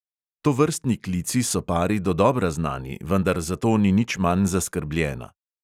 Tovrstni klici so pari dodobra znani, vendar zato ni nič manj zaskrbljena.